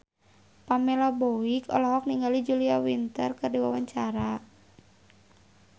Pamela Bowie olohok ningali Julia Winter keur diwawancara